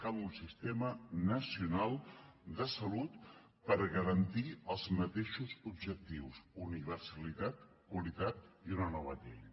cal un sistema nacional de salut per garantir els mateixos objectius universalitat qualitat i una nova llei